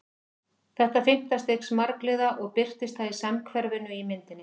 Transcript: Þetta er fimmta stigs margliða og birtist það í samhverfunni í myndinni.